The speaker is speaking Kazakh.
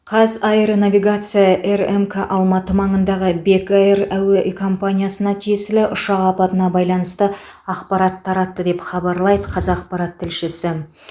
қазаэронавигация рмк алматы маңындағы бек эйр әуе компаниясына тиесілі ұшақ апатына байланысты ақпарат таратты деп хабарлайды қазақпарат тілшісі